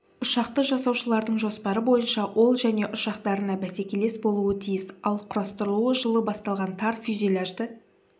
ұшақты жасаушылардың жоспары бойынша ол және ұшақтарына бәсекелес болуы тиіс ал құрастырылуы жылы басталған тар фюзеляжды